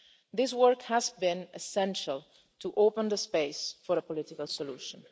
This work has been essential to open the space for a political solution.